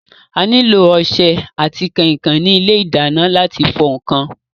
A nílò ọsẹ àti kànkàn ní ilé ìdáná láti fọ ǹkan.